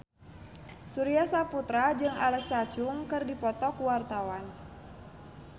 Surya Saputra jeung Alexa Chung keur dipoto ku wartawan